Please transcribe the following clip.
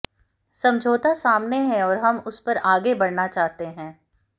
समझौता सामने है और हम उस पर आगे बढ़ना चाहते हैं